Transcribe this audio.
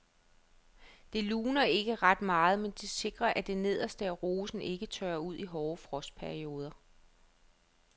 Det luner ikke ret meget, men det sikrer at det nederste af rosen ikke tørrer ud i hårde frostperioder.